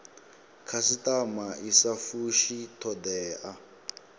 khasitama i sa fushi thodea